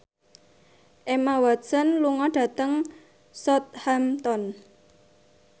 Emma Watson lunga dhateng Southampton